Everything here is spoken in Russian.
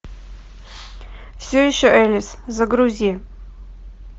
все еще элис загрузи